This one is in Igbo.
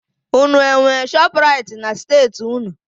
Unu enwe Shọpraịt na steeti unu?